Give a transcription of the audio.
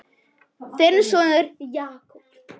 Þinn sonur, Jakob.